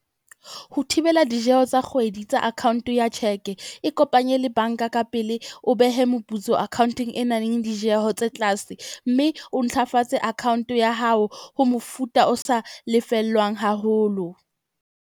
Ho thibela dijeho tsa kgwedi tsa account-o ya cheque, e kopanye le bank-a ka pele, o behe moputso akhaonteng e naneng dijeho tse tlase. Mme o ntlafatse account ya hao ho mofuta o sa lefellwang haholo.